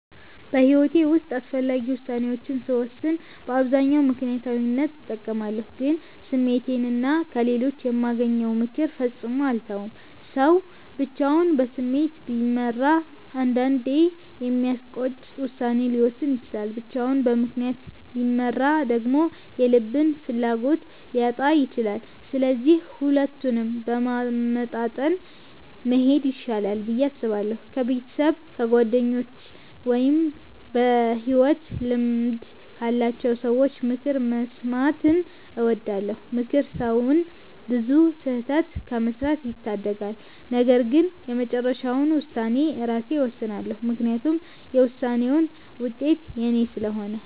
በሕይወቴ ውስጥ አስፈላጊ ውሳኔዎችን ስወስን በአብዛኛው ምክንያታዊነትን እጠቀማለሁ፣ ግን ስሜቴንና ከሌሎች የማገኘውን ምክር ፈጽሞ አልተውም። ሰው ብቻውን በስሜት ቢመራ አንዳንዴ የሚያስቆጭ ውሳኔ ሊወስን ይችላል፤ ብቻውን በምክንያት ቢመራ ደግሞ የልብን ፍላጎት ሊያጣ ይችላል። ስለዚህ ሁለቱንም በማመጣጠን መሄድ ይሻላል ብዬ አስባለሁ። ከቤተሰብ፣ ከጓደኞች ወይም በሕይወት ልምድ ካላቸው ሰዎች ምክር መስማትን እወዳለሁ። ምክር ሰውን ብዙ ስህተት ከመስራት ይታደጋል። ነገር ግን የመጨረሻውን ውሳኔ ራሴ እወስናለሁ፤ ምክንያቱም የውሳኔውን ውጤት የኔ ስለሆነ።